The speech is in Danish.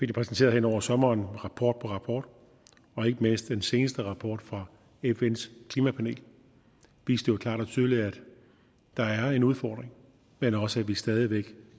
det præsenteret hen over sommeren i rapport på rapport og ikke mindst den seneste rapport fra fns klimapanel viste jo klart og tydeligt at der er en udfordring men også at vi stadig væk